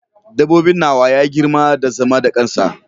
Dabbobin nawa ya girma da zama da kansa.